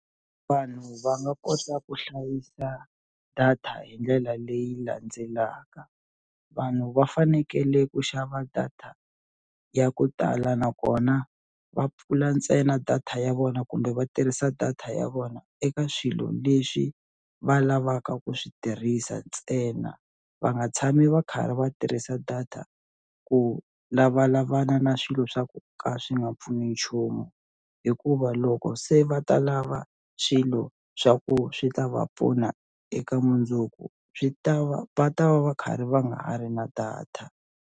Vanhu va nga kota ku hlayisa data hi ndlela leyi landzelaka vanhu va fanekele ku xava data ya ku tala nakona va pfula ntsena data ya vona kumbe va tirhisa data ya vona eka swilo leswi va lavaka ku swi tirhisa ntsena va nga tshami va karhi va tirhisa data ku lavalavana na swilo swa ku ka swi nga pfuni nchumu hikuva loko se va ta lava swilo swa ku swi ta va pfuna eka mundzuku swi ta va va ta va va karhi va nga ha ri na data.